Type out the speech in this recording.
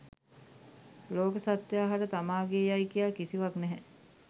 ලෝක සත්ත්වයා හට තමාගේ යයි කියා කිසිවක් නැහැ.